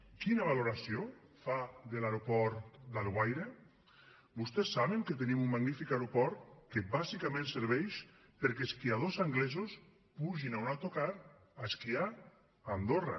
quina valoració fa de l’aeroport d’alguaire vostès saben que tenim un magnífic aeroport que bàsicament serveix perquè esquiadors anglesos pugin a un autocar a esquiar a andorra